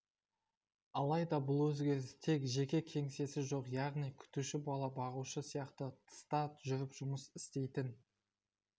алайда бұл өзгеріс тек жеке кеңсесі жоқ яғни күтуші бала бағушы сияқты тыста жүріп жұмыс істейтін